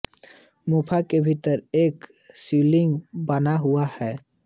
गुफा के भीतर एक शिवलिंग बना हुआ है